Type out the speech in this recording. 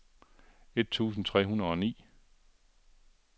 et tusind tre hundrede og ni